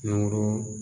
Ungolo